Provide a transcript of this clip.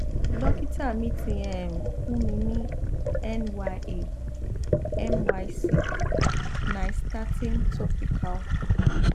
dókítà mi ti um fún mi ní nya myc nystatin topical